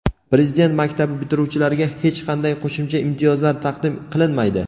Prezident maktabi bitiruvchilariga hech qanday qo‘shimcha imtiyozlar taqdim qilinmaydi.